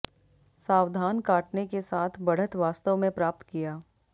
सावधान काटने के साथ बढ़त वास्तव में प्राप्त किया